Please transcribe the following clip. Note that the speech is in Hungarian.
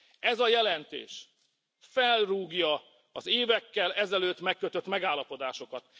Ez a jelentés felrúgja az évekkel ezelőtt megkötött megállapodásokat.